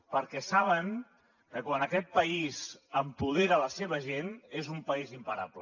perquè saben que quan aquest país empodera la seva gent és un país imparable